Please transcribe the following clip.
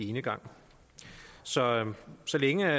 enegang så så længe